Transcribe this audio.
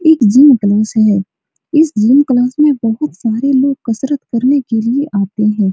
एक gym class है | इस जिम क्लास में बहुत सारे लोग कसरत करने के लिए आते हैं।